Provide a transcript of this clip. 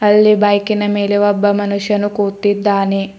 ಅಲ್ಲಿ ಬೈಕಿನ ಮೇಲೆ ಒಬ್ಬ ಮನುಷ್ಯನು ಕೂತಿದ್ದಾನೆ.